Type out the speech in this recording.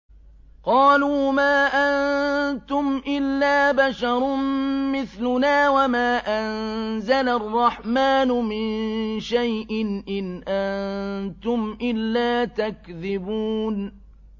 قَالُوا مَا أَنتُمْ إِلَّا بَشَرٌ مِّثْلُنَا وَمَا أَنزَلَ الرَّحْمَٰنُ مِن شَيْءٍ إِنْ أَنتُمْ إِلَّا تَكْذِبُونَ